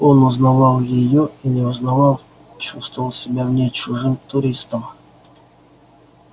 он узнавал её и не узнавал чувствовал себя в ней чужим туристом